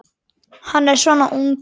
Hann er þá svona ungur.